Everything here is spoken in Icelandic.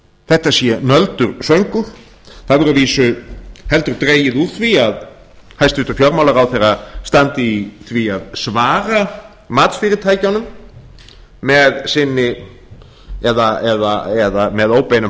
þetta sé nöldur og söngur það hefur að vísu heldur dregið úr því að hæstvirtur fjármálaráðherra standi í því að svara matsfyrirtækjunum eða með óbeinum